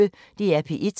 DR P1